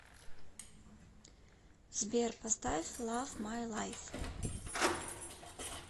сбер поставь лав май лайф